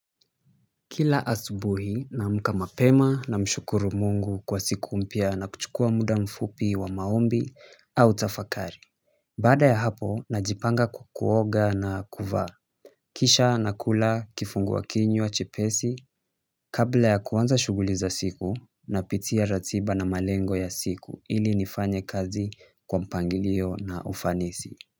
Kila asubuhi naamka mapema namshukuru Mungu kwa siku mpya na kuchukua muda mfupi wa maombi au tafakari baada ya hapo najipanga kuoga na kuvaa kisha nakula kifungua kinywa chepesi kabla ya kuanza shughuli za siku napitia ratiba na malengo ya siku ili nifanye kazi kwa mpangilio na kwa ufanisi.